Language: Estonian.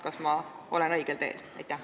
Kas ma olen õigel teel?